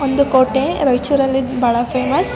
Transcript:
ಒಂದು ಕೋಟೆ ರೈಚೂರ್ ಅಲ್ಲಿ ಇದ್ ಬಾಳ ಫೇಮಸ್ .